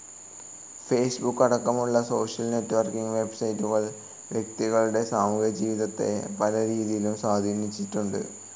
Facebook അടക്കമുള്ള social networking വെബ്‌സൈറ്റുകൾ വ്യക്തികളുടെ സാമൂഹികജീവിതത്തെ പല രീതിയിലും സ്വാധീനിച്ചിട്ടുണ്ട്.